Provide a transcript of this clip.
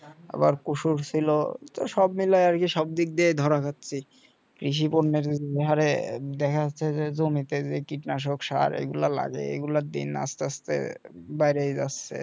আবার কচুর ছিল তো সব মিলাই আরকি সব দিক দিয়ে ধরা হচ্ছে কৃষি পণ্যের যে হারে দেখা যাচ্ছে যে জমিতে যে কীটনাশক সার এগুলো লাগে এগুলোর দিন আস্তে আস্তে বাইরে যাচ্ছে